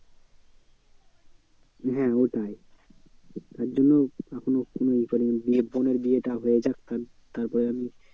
হ্যাঁ ওটাই তার জন্য এখনো কোনো এ করিনি নিয়ে বোনের বিয়েটা হয়ে যাক তারপরে আমি